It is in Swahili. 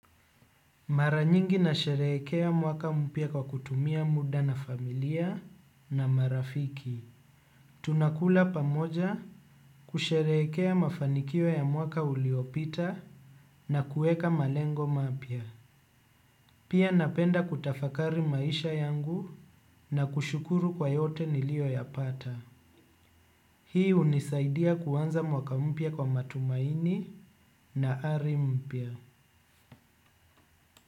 Maranyingi na sherehekea mwaka mpya kwa kutumia muda na familia na marafiki. Tunakula pamoja kusherehekea mafanikio ya mwaka uliopita na kuweka malengo mapya. Pia napenda kutafakari maisha yangu na kushukuru kwa yote nilio ya pata. Hii unisaidia kuwanza mwaka mpya kwa matumaini na ari mpya.